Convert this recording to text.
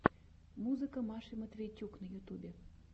музыка маши матвейчук на ютьюбе